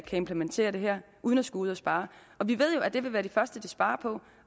implementere det her uden at skulle ud at spare og vi ved jo at det vil være det første de sparer på